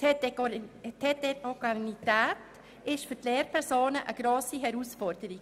Die Heterogenität der Schülerinnen und Schüler ist für die Lehrpersonen eine grosse Herausforderung.